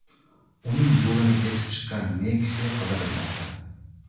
Uning yo‘lini kesib chiqqan Nexia qidirilmoqda.